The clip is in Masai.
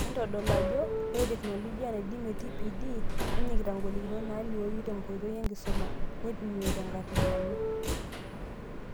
Entodol aajo, ore tekinoloji naidiimie TPD, nenyikita ngolikinot naalioyu tenkoitoi enkisuma, neipimi tenkarriyano.